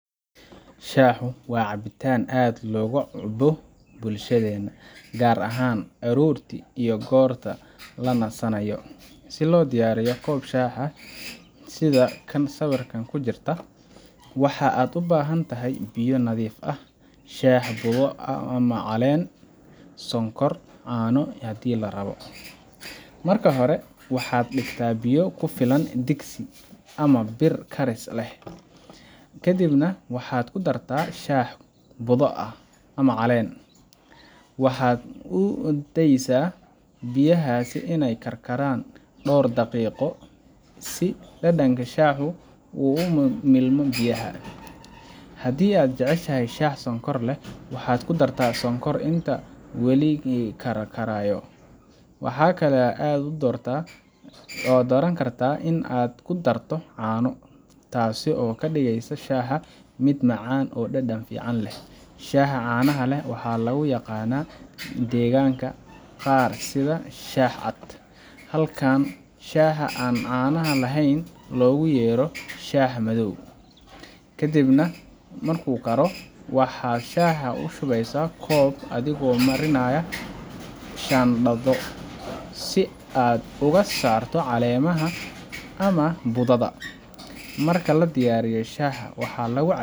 Shaahu waa cabitaan aad looga cuno bulshadeena, gaar ahaan aroortii iyo goorta la nasanayo. Si loo diyaariyo koob shaah ah sida kan sawirka ku jira, waxaad u baahan tahay biyo nadiif ah, shaah budo ama caleen ah, sonkor, iyo caano haddii la rabo. Marka hore, waxaad dhigtaa biyo ku filan digsi ama bir karis leh, kadibna waxaad ku dartaa shaah budo ah ama caleen. Waxaad u daysaa biyahaas inay karkaraan dhowr daqiiqo si dhadhanka shaahu uu ugu milmo biyaha. Haddii aad jeceshahay shaah sonkor leh, waxaad ku dartaa sonkor inta uu wali karkarayo. Waxaa kale oo aad dooran kartaa in aad ku darto caano, taasoo ka dhigeysa shaaha mid macaan oo dhadhan fiican leh. Shaaha caanaha leh waxaa lagu yaqaan deegaanada qaar sida shaah cad, halka shaaha aan caanaha lahayn loogu yeero shaah madow. Kadib marka uu karkaro, waxaad shaaha u shubaysaa koob adigoo marinaya shaandho si aad uga saarto caleemaha ama budada. Marka la diyaariyo, shaaha waxaa lagu cabbaa